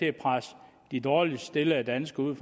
at presse de dårligst stillede danskere ud